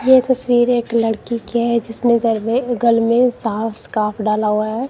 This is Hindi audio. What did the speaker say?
ये तस्वीर एक लड़की की है जिसने में गल में साफ स्कार्फ डाला हुआ है।